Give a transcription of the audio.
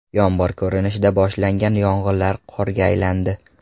Yomg‘ir ko‘rinishida boshlangan yog‘inlar qorga aylandi.